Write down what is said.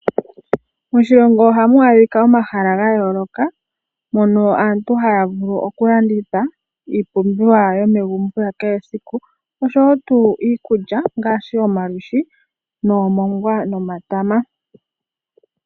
Moshilongo ohamu adhika omahala ga yooloka mono aantu haya vulu okulanditha iipumbiwa yomegumbo ya kehe esiku oshowo tuu iikulya ngaashi omalwiishi, noomongwa nomatama.